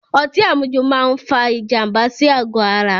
Ọtí àmujù máa fa ìjànbá sí àgò ara